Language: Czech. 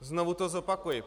Znovu to zopakuji.